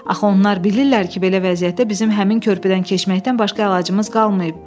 Axı onlar bilirlər ki, belə vəziyyətdə bizim həmin körpüdən keçməkdən başqa əlacımız qalmayıb.